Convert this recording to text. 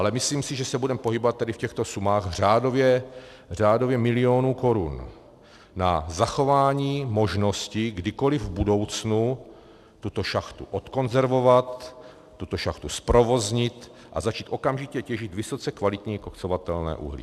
Ale myslím si, že se budeme pohybovat tady v těchto sumách řádově milionů korun na zachování možnosti kdykoliv v budoucnu tuto šachtu odkonzervovat, tuto šachtu zprovoznit a začít okamžitě těžit vysoce kvalitní koksovatelné uhlí.